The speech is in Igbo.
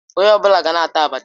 Onye ọ bụla gaa na-ata Abacha